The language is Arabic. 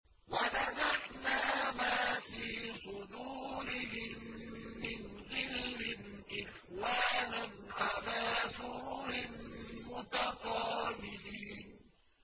وَنَزَعْنَا مَا فِي صُدُورِهِم مِّنْ غِلٍّ إِخْوَانًا عَلَىٰ سُرُرٍ مُّتَقَابِلِينَ